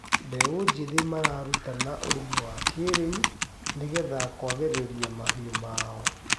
Mbeũ njĩthĩ mararutana ũrĩmi wa kĩrĩu nĩgetha kwagĩrĩria mahiu mao